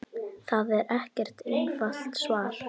Það er ekkert einfalt svar.